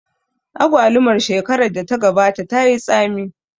Agwalumar shekarar da ta gabata tayi tsami